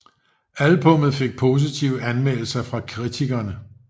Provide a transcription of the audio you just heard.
Albummet fik positive anmeldelser fra kritikerne